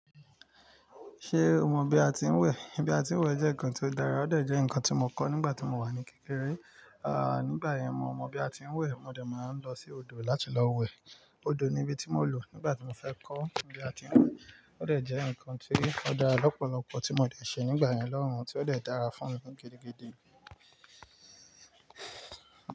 Ṣé o mọ bi atinwẹ? Bi atinwẹ jẹ́ nnkan tí ó dára, ó dà jẹ́ ǹkan tí mo kọ́ nígbà tí mo wà ní kékeré. À, nígbà yẹn mo mọ bii atinwẹ, mo dẹ̀ máa ń lọ sí odò láti lọ wẹ. Odò ni ibi tí mo lò nígbà tí mo fẹ́ kọ́ ibi atinwẹ. Ó dẹ̀ jẹ́ ǹkan tí ó dára lọ́pọ̀lọpọ̀ tí mo dẹ̀ ṣe nígbà yẹn lóun, tí ó dẹ̀ dára fún mi gidigidi.